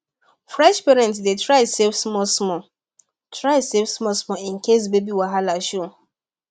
fresh parents dey try save smallsmall try save smallsmall in case baby wahala show